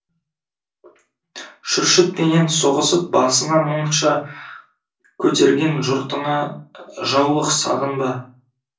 шүршітпенен соғысып басына мұнша көтерген жұртыңа жаулық сағынба